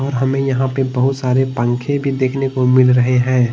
हमें यहां पे बहुत सारे पंखे भी देखने को मिल रहे हैं।